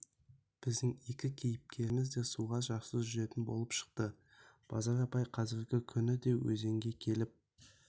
біздің екі кейіпкеріміз де суға жақсы жүзетін болып шықты базар апай қазіргі күні де өзенге келіп